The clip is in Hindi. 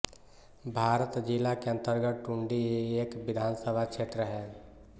भारत जिला के अन्तर्गत टुंडी एक विधानसभा क्षेत्र है